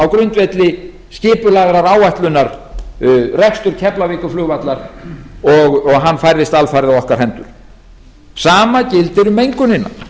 á grundvelli skipulagðrar áætlunar rekstur keflavíkurflugvallar og hann færðist alfarið á okkar hendur sama gildir um mengunina